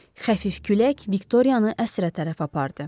Xəfif külək Viktoriyanı əsrə tərəf apardı.